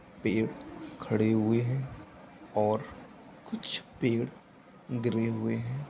पेड़ खड़े हुए हैं और कुछ पेड़ गिरे हुए हैं।